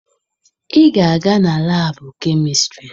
Ị ga-aga na laabụ kemistịrị!